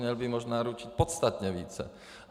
Měl by možná ručit podstatně více.